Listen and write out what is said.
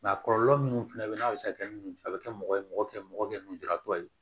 a kɔlɔlɔ minnu fɛnɛ be yen n'a be se ka kɛ a be kɛ mɔgɔ ye mɔgɔ kɛ mɔgɔ kɛ lujuratɔ ye